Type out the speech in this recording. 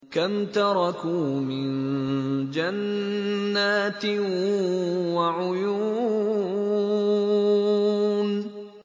كَمْ تَرَكُوا مِن جَنَّاتٍ وَعُيُونٍ